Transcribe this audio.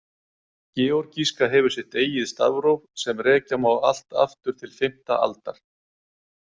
Georgíska hefur sitt eigið stafróf sem rekja má allt aftur til fimmta aldar.